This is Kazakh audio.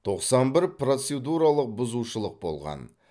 тоқсан бір процедуралық бұзушылық болған